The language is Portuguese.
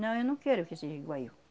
Não, eu não quero que seja igual eu.